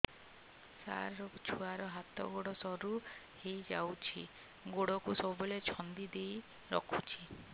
ସାର ଛୁଆର ହାତ ଗୋଡ ସରୁ ହେଇ ଯାଉଛି ଗୋଡ କୁ ସବୁବେଳେ ଛନ୍ଦିଦେଇ ରଖୁଛି